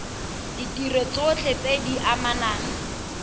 ditiro tsotlhe tse di amanang